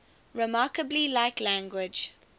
remarkably like language